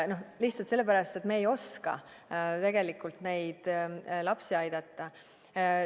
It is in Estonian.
Lihtsalt sellepärast, et me ei oska tegelikult lapsi aidata.